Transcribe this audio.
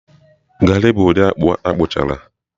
garị bụ ụdị akpụ akpụchara